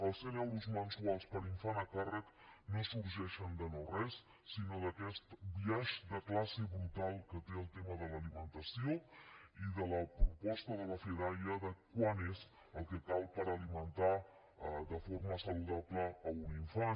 els cent euros mensuals per infant a càrrec no sorgeixen de no res sinó d’aquest biaix de classe brutal que té el tema de l’alimentació i de la proposta de la fedaia de quant és el que cal per alimentar de forma saludable un infant